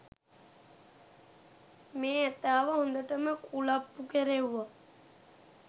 මේ ඇතාව හොඳටම කුලප්පු කෙරෙව්වා